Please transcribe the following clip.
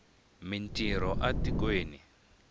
mi ntirho a tikweni